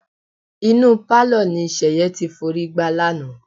Inú pálọ̀ ni Ṣẹ̀yẹ ti forí gbá lánàá.